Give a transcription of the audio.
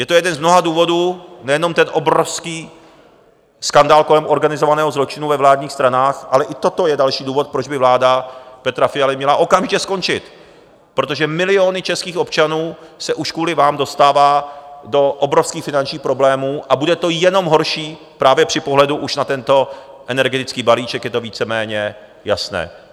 Je to jeden z mnoha důvodů, nejenom ten obrovský skandál kolem organizovaného zločinu ve vládních stranách, ale i toto je další důvod, proč by vláda Petra Fialy měla okamžitě skončit, protože miliony českých občanů se už kvůli vám dostávají do obrovských finančních problémů, a bude to jenom horší, právě při pohledu už na tento energetický balíček je to víceméně jasné.